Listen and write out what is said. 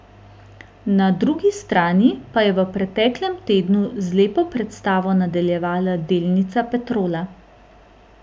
Na drugi strani pa je v preteklem tednu z lepo predstavo nadaljevala delnica Petrola.